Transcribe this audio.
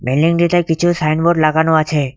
বিল্ডিংটিতে কিছু সাইনবোর্ড লাগানো আছে।